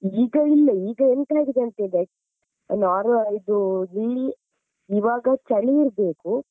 ಈಗ ಇಲ್ಲ ಈಗ ಎಂತ ಆಗಿದೆ ಅಂದ್ರೆ ಇವಾಗ ಚಳಿ ಇರ್ಬೇಕು.